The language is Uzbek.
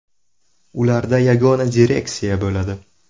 Ularda yagona direksiya bo‘ladi.